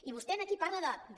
i vostè aquí parla de